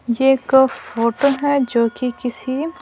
यह एक फोटो है जो कि किसी--